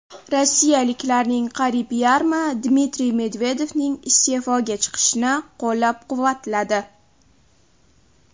Rossiyaliklarning qariyb yarmi Dmitriy Medvedevning iste’foga chiqishini qo‘llab-quvvatladi.